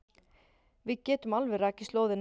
Við getum alveg rakið slóðina.